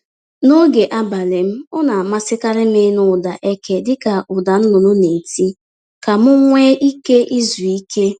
N’oge abalị m ọ na amasịkarị m ịnụ ụda eke dịka ụda nnụnụ na-eti ka m nwe ike izu ike.